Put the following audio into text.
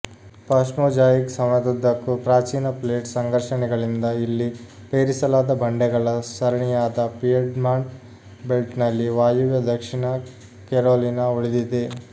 ಪಾಶ್ಮೊಜಾಯಿಕ್ ಸಮಯದುದ್ದಕ್ಕೂ ಪ್ರಾಚೀನ ಪ್ಲೇಟ್ ಸಂಘರ್ಷಣೆಗಳಿಂದ ಇಲ್ಲಿ ಪೇರಿಸಲಾದ ಬಂಡೆಗಳ ಸರಣಿಯಾದ ಪಿಯೆಡ್ಮಾಂಟ್ ಬೆಲ್ಟ್ನಲ್ಲಿ ವಾಯುವ್ಯ ದಕ್ಷಿಣ ಕೆರೊಲಿನಾ ಉಳಿದಿದೆ